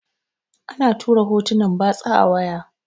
ana tura hotunan batsa a waya